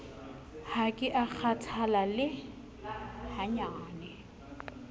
ha ke a kgathala le